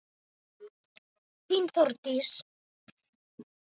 Þín, Þórdís.